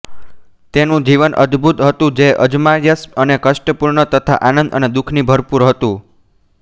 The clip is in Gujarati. તેનું જીવન અદ્ભૂત હતું જે અજમાયશ અને કષ્ટપૂર્ણ તથા આંનદ અને દુખથી ભરપૂર હતું